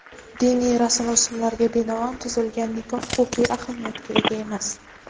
Diniy rasm-rusumlarga binoan tuzilgan nikoh huquqiy ahamiyatga ega emas.